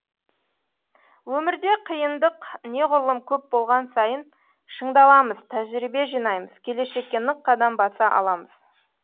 өмірде қиындық неғұрлым көп болған сайын шыңдаламыз тәжірибе жинаймыз келешекке нық қадам баса аламыз